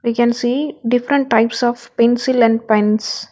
We can see different types of pencil and pens.